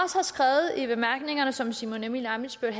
skrevet i bemærkningerne og som herre simon emil ammitzbøll